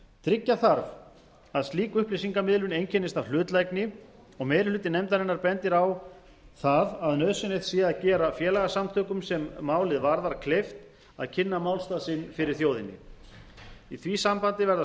tryggja þarf að slík upplýsingamiðlun einkennist af hlutlægni og meiri hluti nefndarinnar bendir á það að nauðsynlegt sé að gera félagasamtökum sem málið varðar kleift að kynna málstað sinn fyrir þjóðinni í því sambandi verða stjórnvöld að tryggja fjármagn á jafnræðisgrundvelli í því sambandi verða stjórnvöld